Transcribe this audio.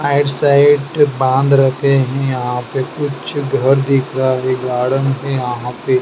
आइड side बांध रखे हैं यहाँ पे कुछ घर दिख रहे गार्डन है यहाँ पे।